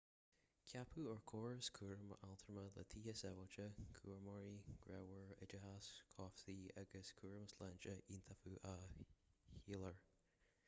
ceapadh ár gcóras cúraim altrama le tithe sábháilte cúramóirí grámhara oideachas cobhsaí agus cúram sláinte iontaofa a sholáthar